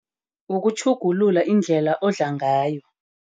Ukutjhugulula iindlela odla ngayo.